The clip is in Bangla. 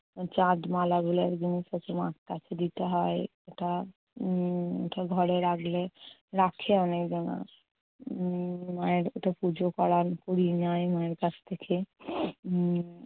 চাঁদ মালাগুলো একদম প্রথমে আস্তে আস্তে দিতে হয়, । ওটা উম ওটা ঘরে রাখলে~ রাখে অনেকজনা। উম মায়ের ওটা পুজো করার পরিণয় মায়ের কাছ থেকে।